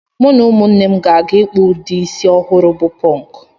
Mụ na ụmụnne m gaje ịkpụ ụdị isi ọhụrụ bụ pọnk